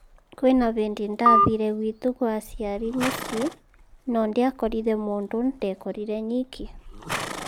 Kwĩna ĩbidi ndathire gwitũ kwa aciari mũcĩĩ, no ndĩakorire mundu ndekorire nyiki.